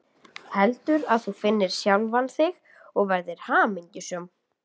Heldur að þú finnir sjálfan þig og verðir hamingjusöm.